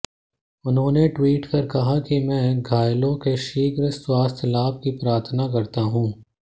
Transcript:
उन्होंने ट्वीट कर कहा कि मैं घायलों के शीघ्र स्वास्थ्य लाभ की प्रार्थना करता हूं